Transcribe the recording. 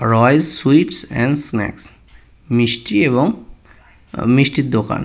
Royal sweets এবং snacks মিস্টি এবং উম মিষ্টির দোকান।